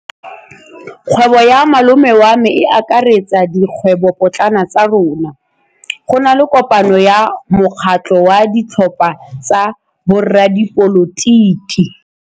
Kgwêbô ya malome wa me e akaretsa dikgwêbôpotlana tsa rona. Go na le kopanô ya mokgatlhô wa ditlhopha tsa boradipolotiki.